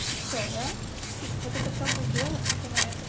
и все будет в жерлах